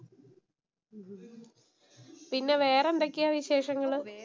പിന്നെ വേറെ എന്തൊക്കെയാ വിശേഷങ്ങള്‍?